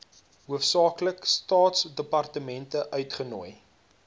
hoofsaaklik staatsdepartemente uitgenooi